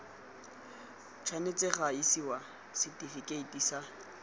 tshwanetse ga isiwa setifikeiti sa